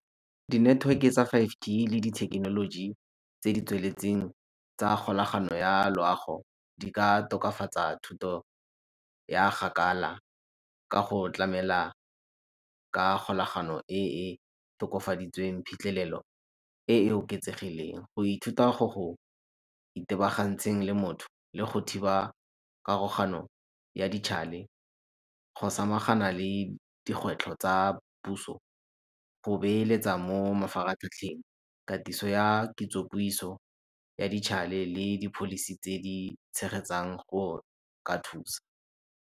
Dineteweke tsa five G le dithekenoloji tse di tsweletseng tsa kgolagano ya loago di ka tokafatsa thuto ya kgakala ka go tlamela ka kgolagano e e tokafaditsweng phitlhelelo e e oketsegileng, go ithuta go go itebagantseng le motho le go thiba pharogano ya go samagana le dikgwetlho tsa puso, go beeletsa mo mafaratlhatlheng, katiso ya kitsopuiso ya le di-policy tse di tshegetsang go ka thusa.